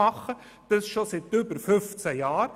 Dies geschieht schon seit über 15 Jahren.